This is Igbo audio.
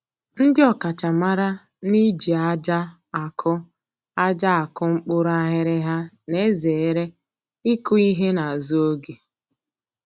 Ndị ọkachamara n'iji aja akụ aja akụ mkpụrụ aghịrịgha na-ezere ịkụ ihe n'azụ oge